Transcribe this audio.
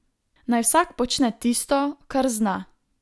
Naj vsak počne tisto, kar zna.